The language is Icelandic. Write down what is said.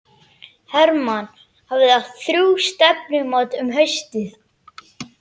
Hermann hafði átt þrjú stefnumót um haustið.